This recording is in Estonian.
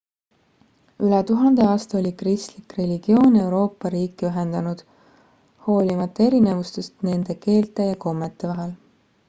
üle tuhande aasta oli kristlik religioon euroopa riike ühendanud hoolimata erinevustest nende keelte ja kommete vahel